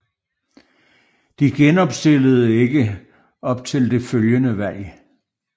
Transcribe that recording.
De genopstillede ikke op til det følgende valg